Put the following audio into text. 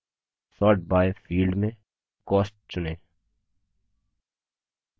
sort criteria tab में sort by field में cost चुनें